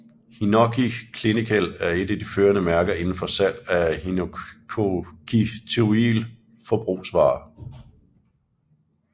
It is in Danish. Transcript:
Hinoki Clinical er et at de førende mærker indenfor salg af hinokitiol forbrugsvarer